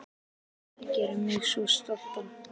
Það gerir mig svo stoltan.